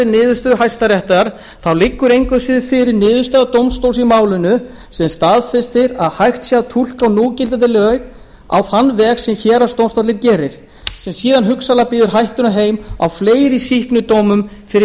niðurstöðu hæstaréttar þá liggur engu að síður fyrir niðurstaða dómstóls í málinu sem staðfestir að hægt sé að túlka núgildandi lög á þann veg sem héraðsdómstóllinn gerir sem síðan hugsanlega býður hættunni heim á fleiri sýknudómum fyrir